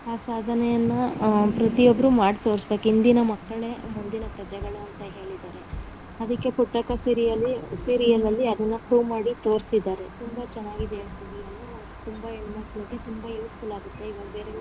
ಆ ಸಾಧನೆಯನ್ನ ಪ್ರತಿಯೊಬ್ಬರೂ ಮಾಡಿ ತೋರಿಸ್ಬೇಕು ಇಂದಿನ ಮಕ್ಕಳೇ ಮುಂದಿನ ಪ್ರಜೆಗಳು ಅಂತ ಹೇಳಿದ್ದಾರೆ ಅದಿಕ್ಕೆ ಪುಟ್ಟಕ್ಕಾ serial serial ನಲ್ಲಿ ಅದುನ್ನ prove ಮಾಡಿ ತೋರ್ಸ್ತಿದ್ದಾರೆ ತುಂಬಾ ಚೆನ್ನಾಗಿದೆ ಆ serial ತುಂಬಾ ಹೆಣ್ಣಮಕ್ಕಳಿಗೆ ತುಂಬಾ useful ಆಗುತ್ತೆ.